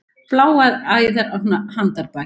Bláar æðar á handarbaki.